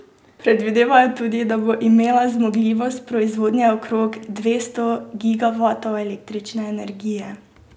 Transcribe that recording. Predvidevajo tudi, da bo imela zmogljivost proizvodnje okrog dvesto gigavatov električne energije.